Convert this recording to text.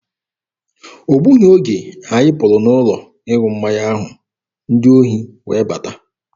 O gbughị oge anyị pụrụ n'ụlọ ịṅụ mmanya ahụ, ndị ohi wee bata.